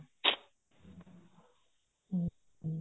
ਹਮ ਹਮ